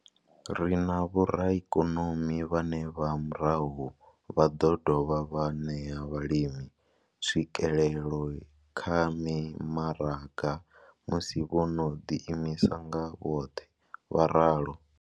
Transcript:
Ri na vhoraikonomi vhane nga murahu vha ḓo dovha vha ṋea vhalimi tswikelelo kha mimaraga musi vho no ḓi imisa nga vhoṱhe vho ralo.